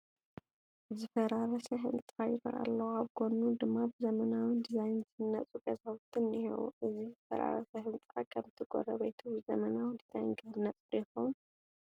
ዝፈራረሰ ህንፃ ይርአ ኣሎ፡፡ ኣብ ጐኑ ድማ ብዘመናዊ ዲዛይን ዝህነፁ ገዛውቲ እኔሁ፡፡ እዚ ዝፈራረሰ ህንፃ ከምቲ ጎረቤቱ ብዘመናዊ ዲዛይን ክህነፅ ዶ ይኸውን?